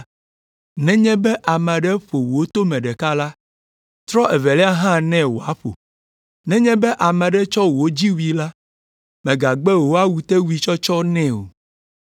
“Nenye be ame aɖe ƒo wò tome ɖeka la, trɔ evelia hã nɛ wòaƒo! Nenye be ame aɖe tsɔ wò dziwui la, mègagbe wò awutewuitsɔtsɔ nɛ o.